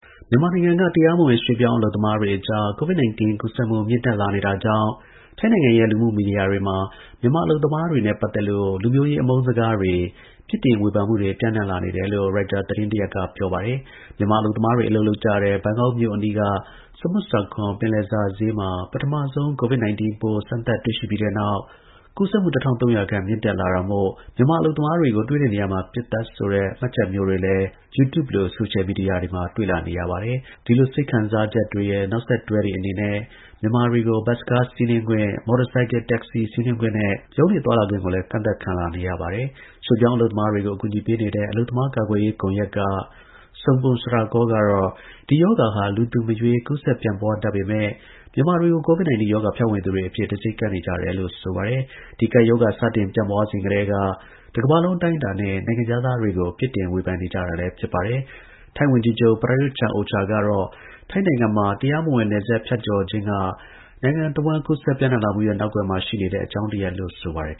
မြန်မာနိုင်ငံက တရားမဝင်ရွေ့ပြောင်း အလုပ်သမားတွေအကြား Covid-19 ကူးစပ်မှု မြင့်တက်လာနေတာကြောင့် ထိုင်းနိုင်ငံရဲ့ လူမှုမီဒီယာတွေမှာ မြန်မာအလုပ်သမားတွေနဲ့ပတ်သက်လို့ လူမျိုးရေးအမုန်းစကားတွေ၊ ပြစ်တင်ဝေဖန်မှုတွေ ပျံံ့နှံ့လာနေတယ်လို့ရိုက်တာသတင်းတရပ်က ဆိုပါတယ်။ မြန်မာအလုပ်သမားတွေ အလုပ်လုပ်ကြတဲ့ ဘန်ကောက်မြို့အနီးက Samut Sakhon ပင်လယ်စာဈေးမှာ ပထမဆုံး Covid-19 ပိုးစမ်းသပ်တွေ့ရှိပြီးနောက် ကူးစက်မှု ၁၃ဝဝ ခန့်မြင့်တက်လာတာမို့ မြန်မာအလုပ်သမားတွေကို တွေ့တဲ့နေရာမှာ ပစ်သတ်ဆိုတဲ့ မှတ်ချက်မျိုးတွေလည်းတွေ့Youtube လို ဆိုရှယ်မီဒီယာတွေမှာ တွေ့လာနေရပါတယ်။ ဒီလိုစိတ်ခံစားချက်တွေရဲ့ နောက်ဆက်တွဲအနေနဲ့ မြန်မာတွေကို ဘတ်စ်ကားစီးနင်းခွင့်၊ မော်တော်ဆိုင်ကယ် taxi စီးနင်းခွင့်နဲ့ ရုံးကနားသွားလာခွင့်တွေကိုလည်း ကန့်သတ်ခံလာနေရတာပါ။ ရွေ့ပြောင်းအလုပ်သမားတွေကို အကူအညီပေးနေတဲ့ အလုပ်သမားကာကွယ်ရေးကွန်ရက်က Sompong Srakaew ကတော့ ဒီရောဂါဟာ လူသူမရွေးကူးစက်ပျံ့ပွားတတ်ပေမယ့် မြန်မာတွေကို Covid-19 ရောဂါဖြန့်ဝေသူတွေအဖြစ် တံဆိပ်ကပ်နေကြတယ်လို့ဆိုပါတယ်။ ဒီကပ်ရောဂါစတင်ပျံ့ပွားစဉ်ကတည်းက တကမ္ဘာလုံးအတိုင်းအတာနဲ နိုင်ငံခြားသားတွေကို ပြစ်ဝေဖန်ကြတာလည်းဖြစ်ပါတယ်။ ထိုင်းဝန်ကြီးချုပ် Prayuth Chan-ocha က ဒီအပတ်ထဲပြောကြားရာမှာတော့ နိုင်နိုင်နင်းနင်းထိန်းချုပ်ထားတဲ့ ထိုင်းနိုင်ငံမှာ တရားမဝင်နယ်စပ်ဖြတ်ကျော်ခြင်းက နိုင်ငံတဝှမ်းကူးစက်ပံျ့နှံံ့လာမှုရဲ့နောက်ကွယ်မှာရှိနေတဲ့ အကြောင်းတရားလို့ဆိုပါတယ်